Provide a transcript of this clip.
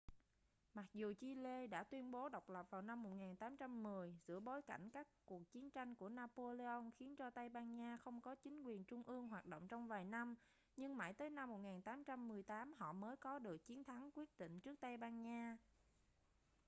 mặc dù chile đã tuyên bố độc lập vào năm 1810 giữa bối cảnh các cuộc chiến tranh của napoleon khiến cho tây ban nha không có chính quyền trung ương hoạt động trong vài năm nhưng mãi tới năm 1818 họ mới có được chiến thắng quyết định trước tây ban nha